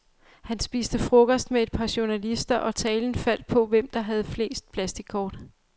Han spiste frokost med et par journalister, og talen faldt på, hvem der havde flest plastickort.